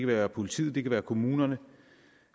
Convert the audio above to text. være politiets det kan være kommunernes